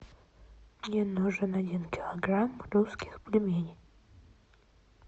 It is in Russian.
мне нужен один килограмм русских пельменей